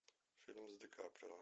фильм с дикаприо